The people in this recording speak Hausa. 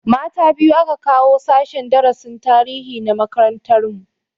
Mata biyu aka kawo sashen darasin tarihi na makarantar mu